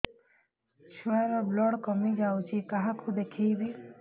ଛୁଆ ର ବ୍ଲଡ଼ କମି ଯାଉଛି କାହାକୁ ଦେଖେଇବି